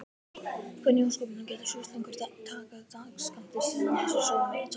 Hvernig í ósköpunum getur sjúklingurinn tekið dagsskammtinn sinn án þess að sóa neinni töflu?